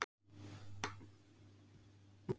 Pepp, svepp og rjómaost Hvernig gemsa áttu?